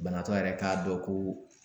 Banabaatɔ yɛrɛ k'a dɔn ko